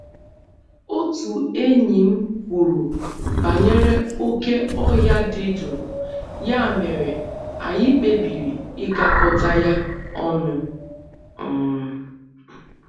Otu enyi m kwuru banyere oké ọhịa dị jụụ, ya mere anyị kpebiri ịgakọta ya ọnụ um